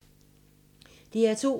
DR2